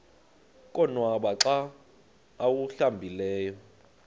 konwaba xa awuhlambileyo